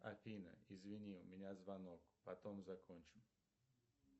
афина извини у меня звонок потом закончим